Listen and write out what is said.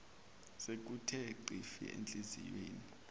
sekuthe xhifi enhliziyweni